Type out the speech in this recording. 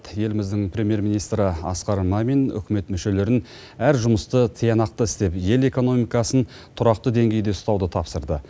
еліміздің премьер министрі асқар мамин үкімет мүшелерін әр жұмысты тиянақты істеп ел экономикасын тұрақты деңгейде ұстауды тапсырды